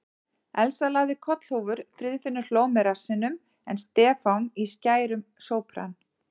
Elsa lagði kollhúfur, Friðfinnur hló með rassinum en Stefán í skærum sópran.